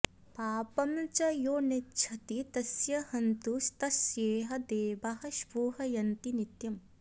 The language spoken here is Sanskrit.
पापं च यो नेच्छति तस्य हन्तु स्तस्येह देवाः स्पृहयन्ति नित्यम्